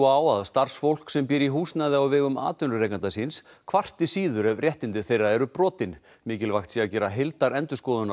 á að starfsfólk sem býr í húsnæði á vegum atvinnurekanda síns kvarti síður ef réttindi þeirra eru brotin mikilvægt sé að gera heildarendurskoðun